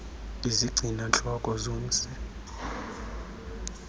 izigcina ntloko zomsi